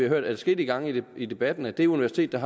hørt adskillige gange i debatten at de universiter